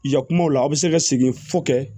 Yan kumaw la a bɛ se ka segin fɔ kɛ